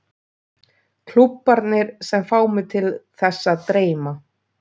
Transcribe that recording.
Klúbbarnir sem fá mig til þess að dreyma?